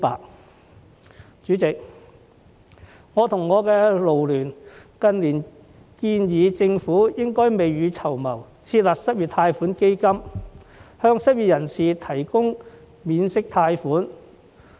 代理主席，我及勞聯近年建議政府應該未雨綢繆，設立失業貸款基金，向失業人士提供免息貸款。